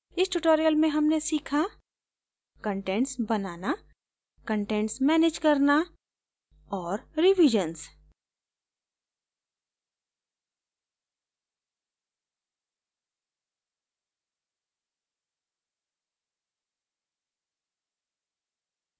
इस tutorial में हमने सीखा contents बनाना contents मैनेज करना और revisions करना